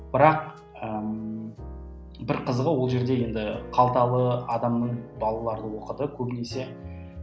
бірақ ыыы бір қызығы ол жерде енді қалталы адамның балалары оқыды көбінесе